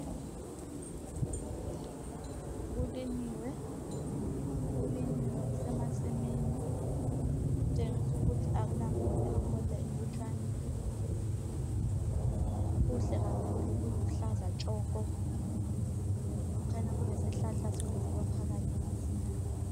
Kulinyiwe kusemasimini kutshengisa ukuthi akula nkotha, inkotha inlutshwane. Kuhle kakhulu kuluhlaza tshoko kukhanya kulesihlahla somviyo phakathi emasimini.